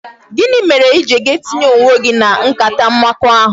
Gịnị mere I ga-eji tinye onwe gị na nkata mmekọahụ?